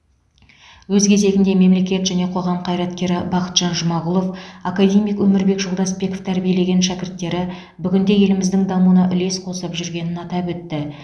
өз кезегінде мемлекет және қоғам қайраткері бақытжан жұмағұлов академик өмірбек жолдасбеков тәрбиелеген шәкірттері бүгінде еліміздің дамуына үлес қосып жүргенін атап өтті